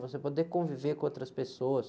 Você poder conviver com outras pessoas.